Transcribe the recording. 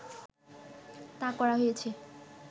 তা করা হয়েছে